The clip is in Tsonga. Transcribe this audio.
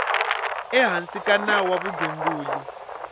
ehansi ka nawu wa vugembuli